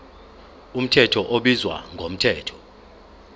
mthetho ubizwa ngomthetho